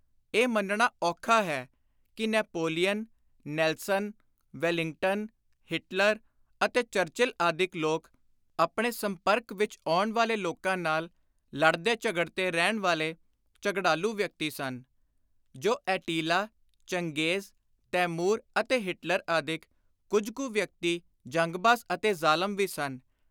ਇਹ ਮੰਨਣਾ ਔਖਾ ਹੈ ਕਿ ਨੈਪੋਲੀਅਨ, ਨੈਲਸਨ, ਵੈਲਿੰਗਟਨ, ਹਿਟਲਰ ਅਤੇ ਚਰਚਿਲ ਆਦਿਕ ਲੋਕ ਆਪਣੇ ਸੰਪਰਕ ਵਿਚ ਆਉਣ ਵਾਲੇ ਲੋਕਾਂ ਨਾਲ ਲੜਦੇ ਝਗੜਦੇ ਰਹਿਣ ਵਾਲੇ ਝਗੜਾਲੂ ਵਿਅਕਤੀ ਸਨ। ਜੋ ਐਟੀਲਾ, ਚੰਗੇਜ਼, ਤੈਮੁਰ ਅਤੇ ਹਿਟਲਰ ਆਦਿਕ ਕੁਝ ਕੁ ਵਿਅਕਤੀ ਜੰਗਬਾਜ਼ ਅਤੇ ਜ਼ਾਲਮ ਵੀ ਸਨ